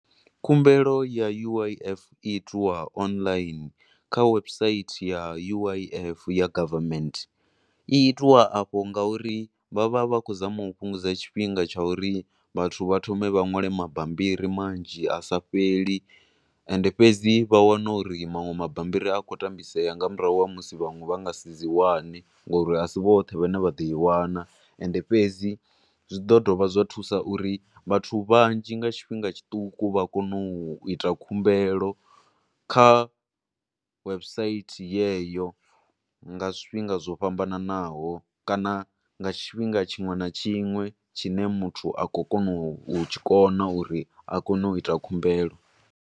Khumbelo ya U_I_F i itiwa online kha website ya U_I_F ya government, i itiwa afho nga uri vha vha vha khou zama u fhungudza tshifhinga tsha uri vhathu vha thome vha ṅwale mabambiri manzhi asa fheli, ende fhedzi vha wane uri manwe mabambiri a khou tambisea nga murahu ha musi vhanwe vha nga si dzi wane ngo uri asi vhoṱhe vha ne vha ḓo i wana, ende fhedzi zwi ḓo dovha zwa thusa uri vhathu vhanzhi nga tshifhinga tshiṱuku, vha kone u ita khumbelo, kha website yeyo nga zwifhinga zwo fhambananaho kana nga tshifhinga tshinwe na tshinwe tshine muthu a khou kona u tshi kona uri a kone u ita khumbelo.